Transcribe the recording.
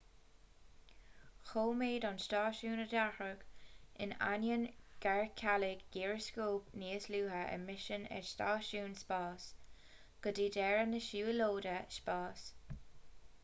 choimeád an stáisiún a dhearcadh in ainneoin gur cailleadh gíreascóp níos luaithe i misean an stáisiúin spáis go dtí deireadh na siúlóide spáis